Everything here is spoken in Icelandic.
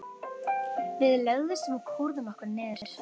Við lögðumst og kúrðum okkur niður.